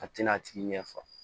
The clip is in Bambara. A tɛna a tigi ɲɛfɔ